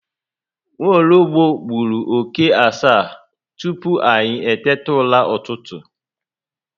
Nwologbo gburu oke asaa tupu anyị eteta ụra ụtụtụ